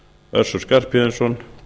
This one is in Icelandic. össur skarphéðinsson